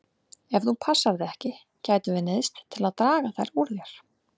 Ef þú passar þig ekki gætum við neyðst til að draga þær úr þér.